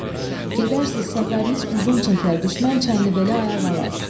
Gedərsiz, səfəriniz uzun çəkər, düşmən Çənlibeli ayaq alar.